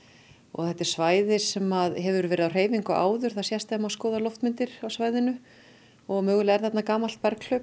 þetta er svæði sem hefur verið á hreyfingu áður það sést þegar að maður skoðar loftmyndir af svæðinu og mögulega er þarna gamalt